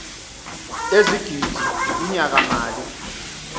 ezigidi kunyaka mali